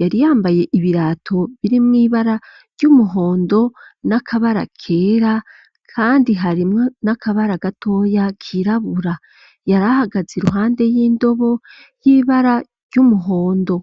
yariyambaye ibirato birimwibara ry'umuhondo n'akabara kera, kandi harimwe n'akabara gatoya kirabura yarahagaze i ruhande y'indobo y'ibara ry'umuhondo.